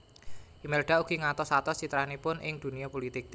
Imelda ugi ngatos atos citranipun ing dunia pulitik